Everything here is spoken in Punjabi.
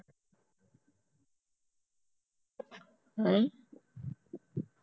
ਨਹੀਂ